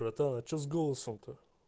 братан а что с голосом то